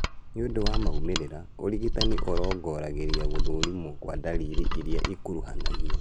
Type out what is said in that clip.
Nĩũndũ wa maumĩrĩra , ũrigitani ũrongoragĩria gũthũrima kwa ndariri irĩa ikuruhanagio